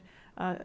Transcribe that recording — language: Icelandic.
að